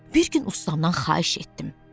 Bir gün ustamdan xahiş etdim.